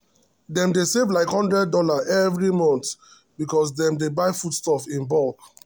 dem dey save like one hundred dollarsevery month because dem dey buy foodstuff in bulk.